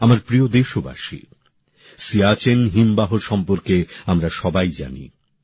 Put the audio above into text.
আমার প্রিয় দেশবাসী সিয়াচেন হিমবাহ সম্পর্কে আমরা সবাই জানি